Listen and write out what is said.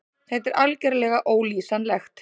Þetta er algerlega ólýsanlegt.